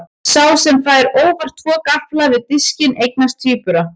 Sá sem fær óvart tvo gaffla við diskinn eignast tvíbura.